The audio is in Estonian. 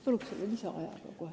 Palun lisaaega!